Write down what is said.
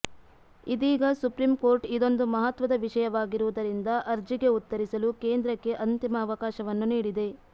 ಇದೀಗ ಸುಪ್ರೀಂಕೋರ್ಟ್ ಇದೊಂದು ಮಹತ್ವದ ವಿಷಯವಾಗಿರುವುದರಿಂದ ಅರ್ಜಿಗೆ ಉತ್ತರಿಸಲು ಕೇಂದ್ರಕ್ಕೆ ಅಂತಿಮ ಅವಕಾಶವನ್ನು ನೀಡಿದೆ